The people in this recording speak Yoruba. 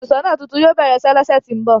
Óluṣọọna tuntun yóò bẹrẹ iṣe ni ọsẹ ti n bọ